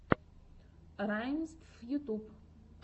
раймств ютьюб